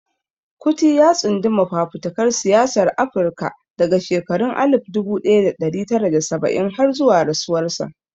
Kuti ya tsunduma fafutukar siyasar Afirka daga shekarun alif dubu daya da dari tara da saba'in har zuwa rasuwarsa.